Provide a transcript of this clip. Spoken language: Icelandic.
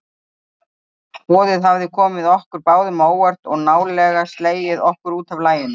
Boðið hafði komið okkur báðum á óvart og nálega slegið okkur útaf laginu.